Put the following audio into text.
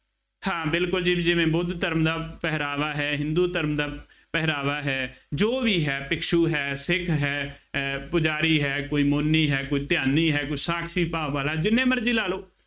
ਹਾਂ ਬਿਲਕੁੱਲ ਜੀ, ਜਿਵੇਂ ਬੁੱਧ ਧਰਮ ਦਾ ਪਹਿਰਾਵਾ ਹੈ, ਹਿੰਦੂ ਧਰਮ ਦਾ ਪਹਿਰਾਵਾ ਹੈ, ਜੋ ਵੀ ਹੈ, ਭਿਖਸ਼ੂ ਹੈ, ਸਿੰਘ ਹੈ, ਅਹ ਪੁਜਾਰੀ ਹੈ, ਕੋਈ ਮੋਨੀ ਹੈ, ਕੋਈ ਧਿਆਨੀ ਹੈ, ਕੋਈ ਸਾਖਸ਼ੀ ਭਾਵ ਵਾਲਾ ਜਿੰਨੇ ਮਰਜ਼ੀ ਲਾ ਲਉ,